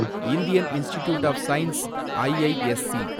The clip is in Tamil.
Indian institute of science, IISc